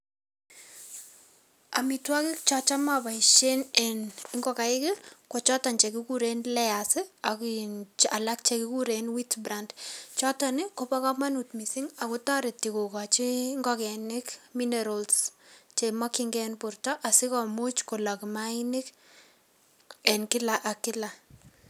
Amitwokik chochome apoishe mising eng ngokaik ko choton che kikurei layers ak alak che kikuren wheat brand choton kobo kamanut mising ako toreti kokoni ngokenik minerals chemakchinkei eng borto asikomuch kolok maainik eng kila ak kila.